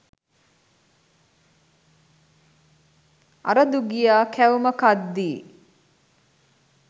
අර දුගියා කැවුම කද්දී